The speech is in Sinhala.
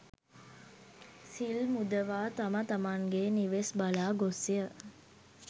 සිල් මුදවා තම තමන්ගේ නිවෙස් බලා ගොස්ය.